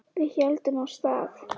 Við héldum af stað.